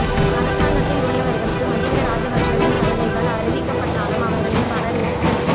அரசாங்கத்தில் உள்ளவர்களுக்கு மகிந்த ராஜபக்சவின் சலுகைகள் அறிவிக்கப்ப ட்டாலும் அவர்களில் பலர் எதிர்க்கட்சி